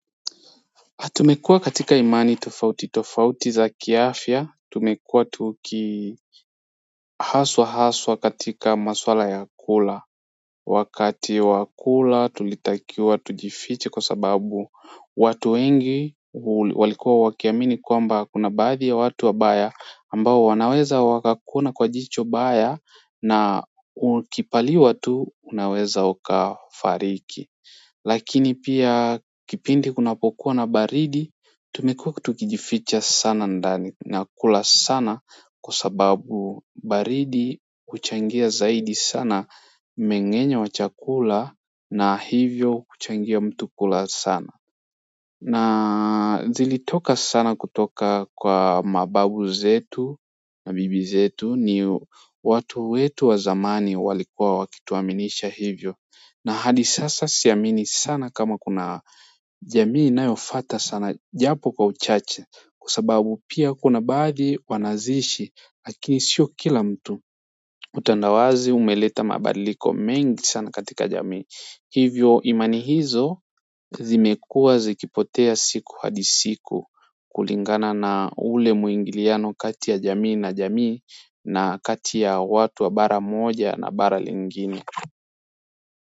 Tumekua katika imani tofauti tofauti za kiafya tumekua tuki haswa haswa katika maswala ya kula wakati wa kula tulitakiwa tujifiche kwa sababu watu wengi walikuwa wakiamini kwamba kuna baadhi ya watu wabaya ambao wanaweza wakakuona kwa jicho baya na ukipaliwa tu unaweza ukafariki lakini pia kipindi kunapokuwa na baridi tumekua tukijificha sana ndani na kula sana kwa sababu baridi huchangia zaidi sana meng'enyo wachakula na hivyo kuchangia mtu kula sana na zilitoka sana kutoka kwa mababu zetu na bibi zetu ni watu wetu wa zamani walikuwa wakituaminisha hivyo na hadi sasa siamini sana kama kuna jamii inayofata sana japo kwa uchache kwa sababu pia kuna baadhi wanazishi lakini sio kila mtu. Utandawazi umeleta mabadiliko mengi sana katika jamii hivyo imani hizo zimekuwa zikipotea siku hadi siku kulingana na ule muingiliano kati ya jamii na jamii na kati ya watu wa bara moja na bara lingine.